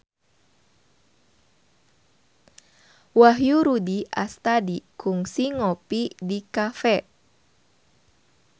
Wahyu Rudi Astadi kungsi ngopi di cafe